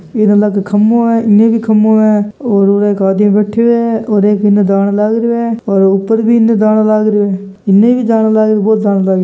इ अलग खम्बो है इने भी खम्बो है और एक आदमी बेठ्यो है और एक इने जाण लाग रिया है और उतर बिन जाण लाग रयो है इने भी जान लाग रयो है बो जान लाग रियो।